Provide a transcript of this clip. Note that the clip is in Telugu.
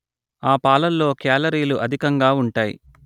ఆ పాలల్లో క్యాలరీలు అధికంగా ఉంటాయి